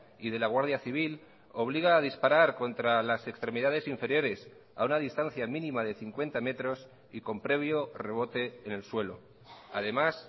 y de la guardia civil obliga a disparar contra las extremidades inferiores a una distancia mínima de cincuenta metros y con previo rebote en el suelo además